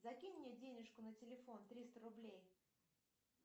закинь мне денежку на телефон триста рублей